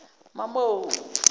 mamo